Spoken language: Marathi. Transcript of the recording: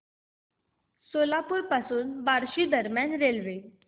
सोलापूर पासून बार्शी दरम्यान रेल्वे